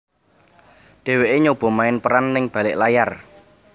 Dheweké nyoba main peran ning balik layar